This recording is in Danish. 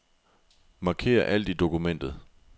Marker alt i dokumentet.